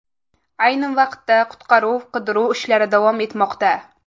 Ayni vaqtda qutqaruv-qidiruv ishlari davom etmoqda.